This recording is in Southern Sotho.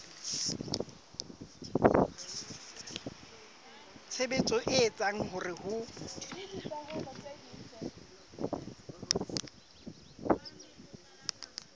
tshebetso e etsang hore ho